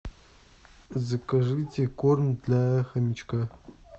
закажите корм для хомячка